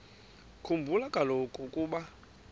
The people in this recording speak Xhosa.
khumbula kaloku ukuba